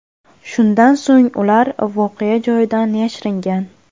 Shundan so‘ng ular voqea joyidan yashiringan.